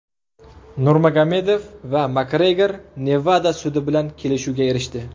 Nurmagomedov va Makgregor Nevada sudi bilan kelishuvga erishdi.